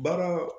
Baara